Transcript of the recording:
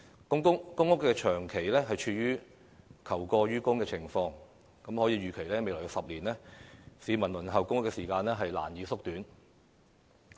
由於公屋長期處於求過於供的情況，可以預期未來10年市民輪候公屋的時間將難以縮短。